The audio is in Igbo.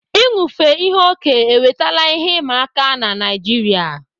Inufe ihe okẹ́ ewetala ihe ịma aka n'Naịjiria.